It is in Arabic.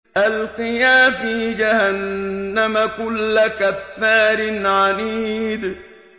أَلْقِيَا فِي جَهَنَّمَ كُلَّ كَفَّارٍ عَنِيدٍ